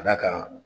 Ka d'a kan